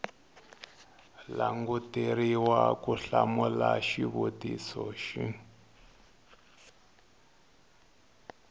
languteriwa ku hlamula xivutiso xin